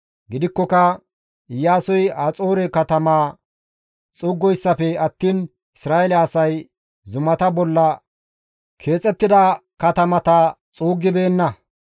Gidikkoka Iyaasoy Haxoore katamaa xuuggoyssafe attiin Isra7eele asay zumata bolla keexettida katamata xuuggibeenna.